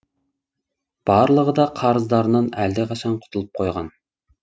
барлығы да қарыздарынан әлдеқашан құтылып қойған